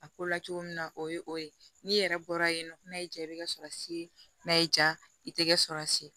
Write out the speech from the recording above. A ko la cogo min na o ye o ye n'i yɛrɛ bɔra yen nɔ n'a y'i ja i bɛ kasɔrɔsi n'a y'i ja i tɛgɛ sɔrɔsi